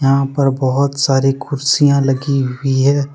यहां पर बहुत सारी कुर्सियां लगी हुई है।